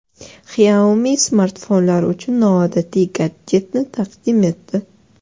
Xiaomi smartfonlar uchun noodatiy gadjetni taqdim etdi.